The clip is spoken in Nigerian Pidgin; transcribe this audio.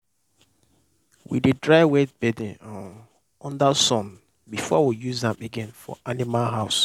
we dey dry wet bedding um under sun before we use am again for animal house.